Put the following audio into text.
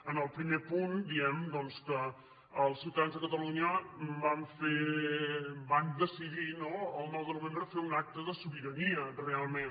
en el primer punt diem doncs que els ciutadans de catalunya van decidir no el nou de novembre fer un acte de sobira·nia realment